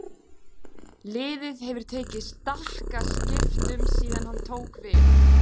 Liðið hefur tekið stakkaskiptum síðan hann tók við.